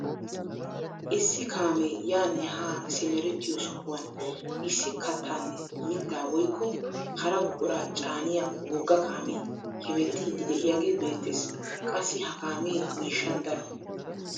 Issi kaamee yaanne haa simerettiyoo sohuwaan issi kaattaanne mittaa woykko hara buquraa caaniyaa wogga kaamee hemettiidi de'iyaagee beettees. qassi ha kaamee miishshan daro.